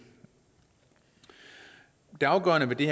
det afgørende ved det